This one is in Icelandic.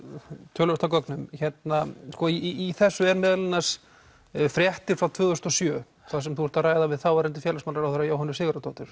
töluvert af gögnum í þessu er meðal annars fréttir frá tvö þúsund og sjö þar sem þú ert að ræða við þáverandi félagsmálaráðherra Jóhönnu Sigurðardóttur